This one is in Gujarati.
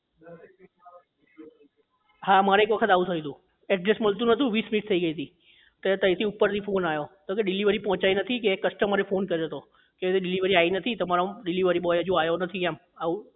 હા મારે એક વખત આવું થયું હતું address મળતું નહોતું વીસ મિનિટ થઇ ગયી હતી તે તઇ થી ઉપર થી phone આવ્યો તો કે delivery પહોંચાઇ નથી તો કે customer એ phone કર્યો હતો કે અજી delivery આયી નથી તમારે એમ delivery boy અજુ આયો નથી એમ